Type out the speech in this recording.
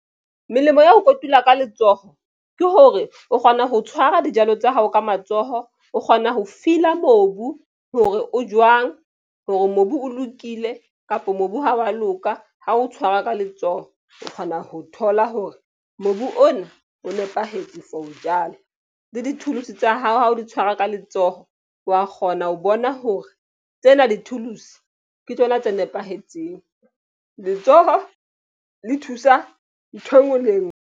Melemo ya ho kotula ka letsoho ke hore o kgona ho tshwara dijalo tsa hao ka matsoho. O kgona ho feeler mobu hore o jwang hore mobu o lokile kapo mobu ha wa loka ha o tshwara ka letsoho o kgona ho thola hore mobu ona o nepahetse for ho jala le di-tools tsa hao ha o di tshwara ka letsoho wa kgona ho bona hore tsena di-tools ke tsona tse nepahetseng letsoho le thusa nthwe ngwe le e ngwe.